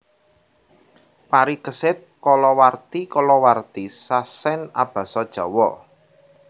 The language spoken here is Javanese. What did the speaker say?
Parikesit kalawarti kalawarti sasèn abasa Jawa